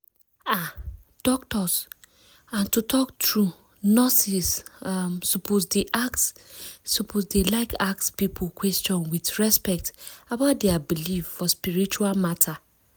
ah! doctors and to talk true nurses um suppose dey like ask people question with respect about dia believe for spiritual matter.